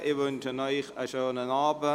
Ich wünsche Ihnen einen schönen Abend.